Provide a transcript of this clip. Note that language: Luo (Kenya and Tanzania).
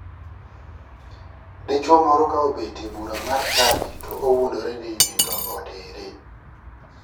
Dichuo moro ka obet e bura mar chadi to owuondore ni nidno otere.